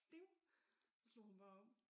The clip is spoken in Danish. Ding slå hun bare over